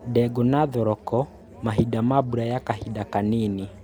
Ndengũ na thoroko mahinda ma mbura ya kahinda kanini